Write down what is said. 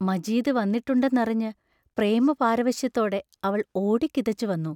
മജീദ് വന്നിട്ടുണ്ടെന്നറിഞ്ഞ് പ്രമപാരവശ്യത്തോടെ അവൾ ഓടിക്കിതച്ചു വന്നു.